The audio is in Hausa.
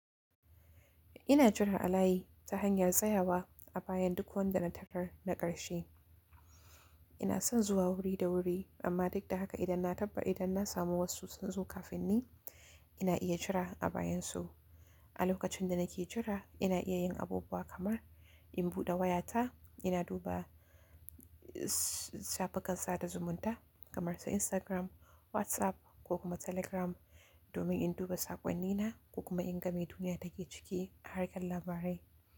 Ina jira alayi ta hanyar tsayawa a bayan duk wanda na tarar na ƙarshe. Ina son zuwa wuri da wuri, amma duk da haka idan na tabbata idan na samu wasu sun zo kafin ni, ina iya jira a bayan su. A lokacin da nake jira, ina iya yin abubuwa kamar in buɗe wayata, ina duba shafukan sa da zumunta kamar su Instagram, WhatsApp ko kuma Telegram domin in duba saƙonnina ko kuma in ga me duniya take ciki, har ƙan labarai.